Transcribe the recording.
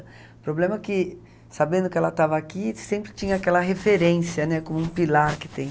O problema é que, sabendo que ela estava aqui, sempre tinha aquela referência, né, como um pilar que tem.